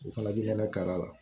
O fana bi kɛnɛ kari a la